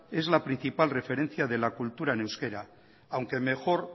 es la principal referencia de la cultura en euskera aunque mejor